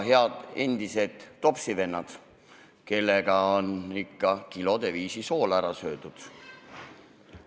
Head endised topsivennad, kellega on ikka kilode viisi soola ära söödud!